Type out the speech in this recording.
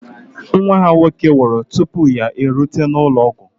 Nwa ha nwoke nwụrụ tupu ya erute n'ụlọ ọgwụ